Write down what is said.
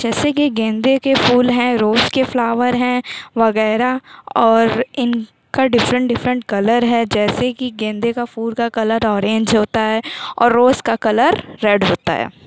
जैसे की गेंदे के फूल हैं रोज़ के फ्लावर हैं वगैरा और इनका डिफ्रन्ट डिफ्रन्ट कलर है जैसे कि गेंदे के फूल का कलर ऑरेंज होता है और रोज़ का कलर रेड होता है।